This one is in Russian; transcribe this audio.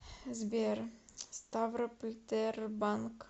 сбер ставрополь тербанк